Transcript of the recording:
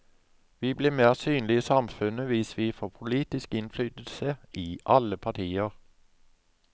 Vi blir mer synlige i samfunnet hvis vi får politisk innflytelse i alle partier.